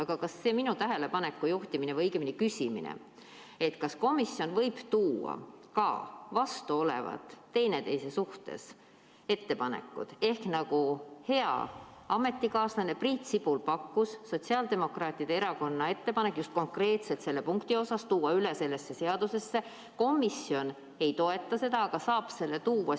Aga minu tähelepanu juhtimine või õigemini küsimus selle kohta, kas komisjon võib üle tuua ka teineteise suhtes vastandlikke ettepanekuid ehk, nagu hea ametikaaslane Priit Sibul pakkus, tuua Sotsiaaldemokraatliku Erakonna ettepanek konkreetselt selle punkti kohta üle sellesse seaduseelnõusse, kuigi komisjon seda ei toeta – kas see leidis arutelu?